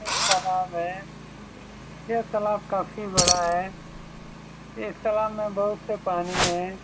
यह एक तालाब है यह तालाब काफी बड़ा है इस तालाब में बहुत से पानी हैं।